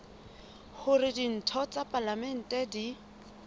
hore ditho tsa palamente di